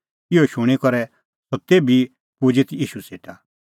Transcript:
इहअ शूणीं करै सह तेभी पुजी ईशू सेटा